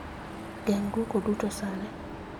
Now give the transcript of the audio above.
Geng' dwoko duto sani